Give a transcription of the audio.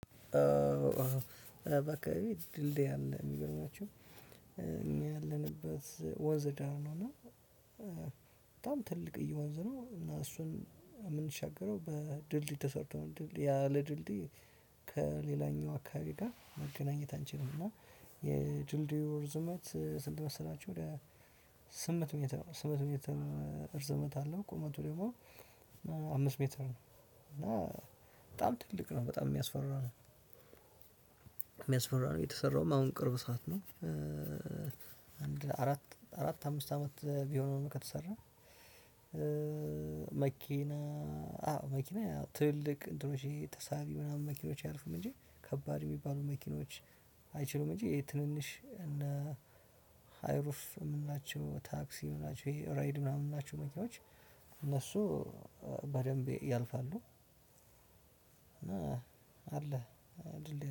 አዎ ባካባቢ ድልድይ አለ ሚገርማችሁ። እኛ ያለንበት ወንዝ ዳር ነው። እና በጣም ትልቅ እየወንዝ ነው። እና እሱን የምንሻገረው በድልድይ ተሰርተው ድልድይ ያ ለድልድይ ከሌላኛው አካባቢ ጋር መገናኘት አንቺልም። እና የድልድዩ እርዝመት ስንት መሰላችሁ? ወደ ስምንት ሜትር ስምንት ሜትር እርዝመት አለ። ቁመቱ ደግሞ አምስት ሜትር ነው። እና በጣም ትልቅ ነው በጣም ሚያስፈራው ሚያስፈራ ነው። የተሰራውም አሁን ቅርብ ሰዓት ነው። አንድ አራት አራት አምስት አመት ቢሆንም ከተሰራ። መኪና አዎ መኪና ትልቅ እንትኖች ይሄ ተሳቢ ምናምን መኪኖች አያልፍም እንጂ ከባድ ሚባሉ መኪኖች አይችሉም። እንጂ ይሄ ትንንሽ እነ ሃይሩፍ የምንላቸው ታክሲ ምንላቸው እሄ ራይድ መኪናዎች እነሱ በደንብ ያልፋሉ። አለ።